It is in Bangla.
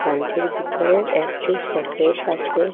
ক্যানটির ভিতরে একটি শোকেস আসে।